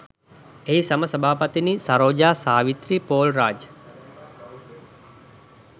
එහි සම සභාපතිනි සරෝජා සාවිත්‍රී පෝල්රාජ්